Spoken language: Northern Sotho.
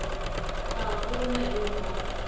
ga go na yo a